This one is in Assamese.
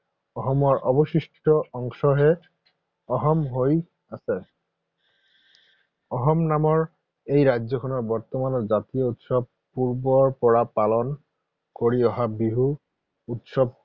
অসমৰ অৱশিষ্ট অংশহে অসম হৈ আছে। অসম নামৰ এই ৰাজ্যখনৰ বৰ্তমানৰ জাতীয় উৎসৱ পূৰ্বৰ পৰা পালন কৰি বিহু উৎসৱটিয়েই।